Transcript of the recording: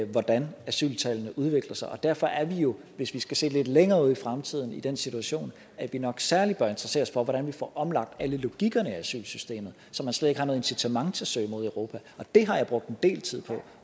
hvordan asyltallene udvikler sig og derfor er vi jo hvis vi skal se lidt længere ud i fremtiden i den situation at vi nok særlig bør interessere os for hvordan vi får omlagt alle logikkerne i asylsystemet så man slet ikke har noget incitament til at søge mod europa det har jeg brugt en del tid på